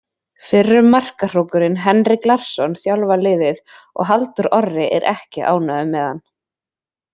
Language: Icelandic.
Fyrrum markahrókurinn Henrik Larsson þjálfar liðið og Halldór Orri er ekki ánægður með hann.